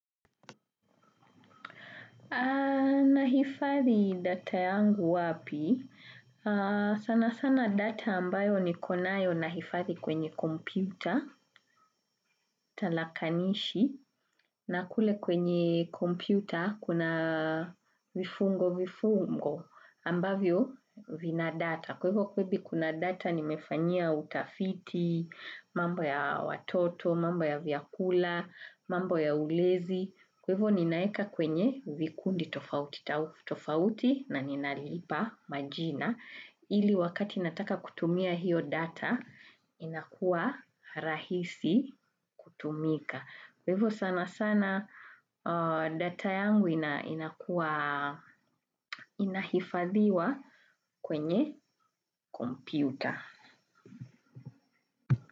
Nahifadhi data yangu wapi, sana sana data ambayo nikovnayo nahifadhi kwenye kompyuta, talakanishi, na kule kwenye kompyuta kuna vifungo vifungo ambavyo vina data. Kwevo kwebi kuna data nimefanyia utafiti, mambo ya watoto, mambo ya vyakula, mambo ya ulezi. Kwa hivo ninaeka kwenye vikundi tofauti na ninalipa majina. Ili wakati nataka kutumia hiyo data, inakuwa rahisi kutumika. Kwa hivo sana sana data yangu inakua inahifadhiwa kwenye kompyuta.